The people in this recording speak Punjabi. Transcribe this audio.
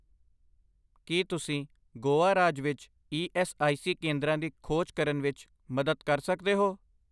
ਕੀ ਤੁਸੀਂ ਗੋਆ ਰਾਜ ਵਿੱਚ ਈ ਐੱਸ ਆਈ ਸੀ ਕੇਂਦਰਾਂ ਦੀ ਖੋਜ ਕਰਨ ਵਿੱਚ ਮਦਦ ਕਰ ਸਕਦੇ ਹੋ?